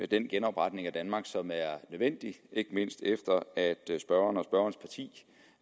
den genopretning af danmark som er nødvendig ikke mindst efter at spørgeren og spørgerens parti